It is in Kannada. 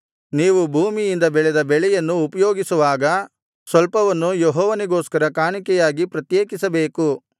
ನೀವು ಭೂಮಿಯಿಂದ ಬೆಳೆದ ಬೆಳೆಯನ್ನು ಉಪಯೋಗಿಸುವಾಗ ಸ್ವಲ್ಪವನ್ನು ಯೆಹೋವನಿಗೋಸ್ಕರ ಕಾಣಿಕೆಯಾಗಿ ಪ್ರತ್ಯೇಕಿಸಬೇಕು